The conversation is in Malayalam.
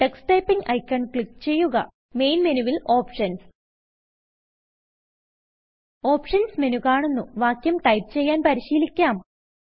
ടക്സ് Typingഐക്കൺ ക്ലിക്ക് ചെയ്യുക മെയിൻ മെനുവിൽ ഓപ്ഷൻസ് Optionsമെനു കാണുന്നുവാക്യം ടൈപ്പ് ചെയ്യാൻ പരിശീലിക്കാം